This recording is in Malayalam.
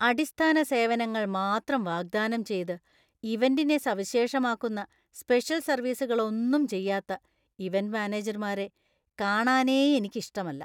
അടിസ്ഥാന സേവനങ്ങൾ മാത്രം വാഗ്ദാനം ചെയ്ത് ഇവന്‍റിനെ സവിശേഷമാക്കുന്ന സ്പെഷല്‍ സര്‍വീസുകള്‍ ഒന്നും ചെയ്യാത്ത ഇവന്‍റ് മാനേജർമാരേ കാണാനേ എനിക്ക് ഇഷ്ടമല്ല.